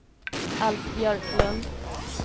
Alf Björklund